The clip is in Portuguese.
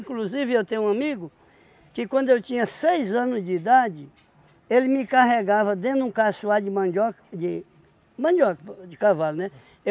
Inclusive, eu tenho um amigo que quando eu tinha seis anos de idade, ele me carregava dentro de um caçoar de mandioca, de mandioca o de cavalo, né?